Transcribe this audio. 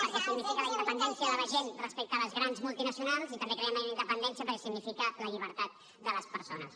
perquè significa la independència de la gent respecte a les grans multinacionals i també creiem en la independència perquè significa la llibertat de les persones